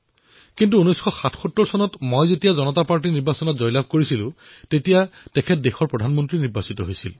কিন্তু ১৯৭৭ চনত যেতিয়া জনতা দলে নিৰ্বাচনত জয় লাভ কৰিলে তেতিয়া তেওঁ দেশৰ প্ৰধানমন্ত্ৰী হল